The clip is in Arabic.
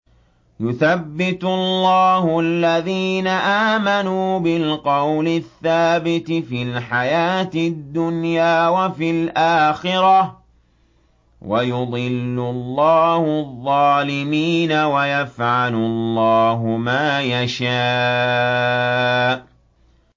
يُثَبِّتُ اللَّهُ الَّذِينَ آمَنُوا بِالْقَوْلِ الثَّابِتِ فِي الْحَيَاةِ الدُّنْيَا وَفِي الْآخِرَةِ ۖ وَيُضِلُّ اللَّهُ الظَّالِمِينَ ۚ وَيَفْعَلُ اللَّهُ مَا يَشَاءُ